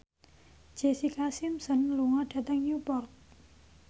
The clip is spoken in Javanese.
Jessica Simpson lunga dhateng Newport